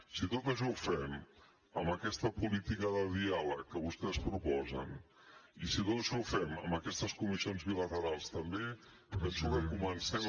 si tot això ho fem amb aquesta política de diàleg que vostès proposen i si tot això ho fem amb aquestes comissions bilaterals també penso que comencem